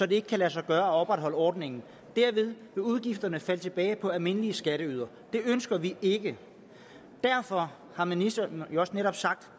det ikke kan lade sig gøre at opretholde ordningen derved vil udgifterne falde tilbage på almindelige skatteydere det ønsker vi ikke derfor har ministeren også netop